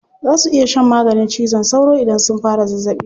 Za su iya shan maganin cizon sauro idan sun fara zazzaɓi.